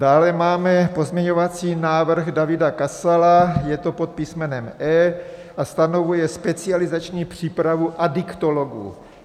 Dále máme pozměňovací návrh Davida Kasala, je to pod písmenem E a stanovuje specializační přípravu adiktologů.